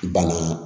Bana